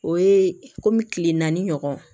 O ye komi kile naani ɲɔgɔn